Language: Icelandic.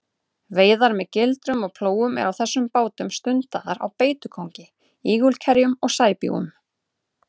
Veiðar með gildrum og plógum eru á þessum bátum stundaðar á beitukóngi, ígulkerjum og sæbjúgum.